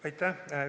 Aitäh!